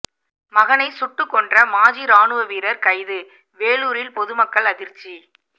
மகனை சுட்டு கொன்ற மாஜி ராணுவ வீரர் கைது வேலூரில் பொதுமக்கள் அதிர்ச்சி